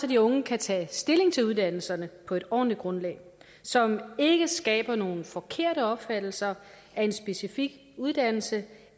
de unge kan tage stilling til uddannelserne på et ordentligt grundlag som ikke skaber nogle forkerte opfattelser af en specifik uddannelse